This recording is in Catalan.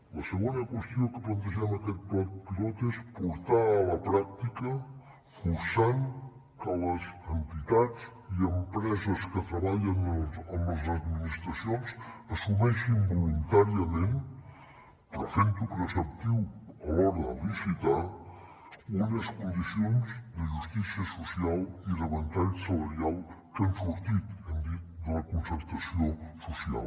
la segona qüestió que plantegem a aquest pla pilot és portar a la pràctica forçant que les entitats i empreses que treballen amb les administracions assumeixin voluntàriament però fent ho preceptiu a l’hora de licitar unes condicions de justícia social i de ventall salarial que han sortit hem dit de la concertació social